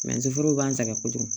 foro b'an sɛgɛn kojugu